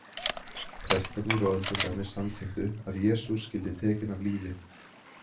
Prestarnir og öldungarnir samþykktu að Jesús skyldi tekinn af lífi.